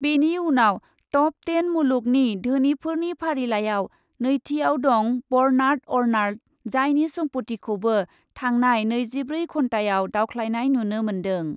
बेनि उनाव top ten मुलुगनि धोनिफोरनि फारिलाइआव नैथियाव दं बर्नार्ड अर्नाल्ड जायनि सम्प'तिखोबौ थांनाय नैजिब्रै घन्टायाव दावख्लायनाय नुनो मोन्दों।